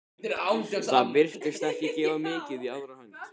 Það virtist ekki gefa mikið í aðra hönd.